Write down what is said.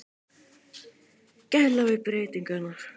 Gæla við breytingarnar.